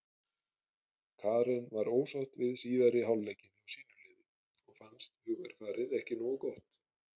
Karen var ósátt við síðari hálfleikinn hjá sínu liði og fannst hugarfarið ekki nógu gott.